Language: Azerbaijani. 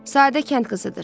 Sadə kənd qızıdır.